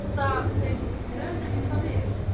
Kemur þetta þeim plönum eitthvað við?